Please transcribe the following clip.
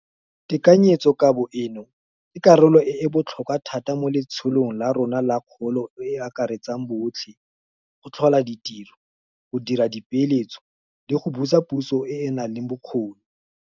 Tekanyetsokabo eno ke karolo e e botlhokwa thata mo letsholong la rona la kgolo e e akaretsang botlhe, go tlhola ditiro, go dira dipeeletso le go busa puso e e nang le bokgoni.